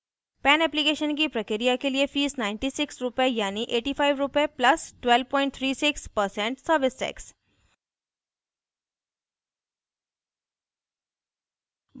pan application की प्रक्रिया के लिए fee 9600 रुपए यानि 8500 रुपए + 1236% service tax